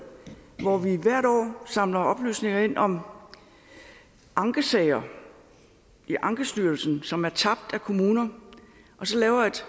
hvor vi hvert år samler oplysninger ind om ankesager i ankestyrelsen som er tabt af kommuner og så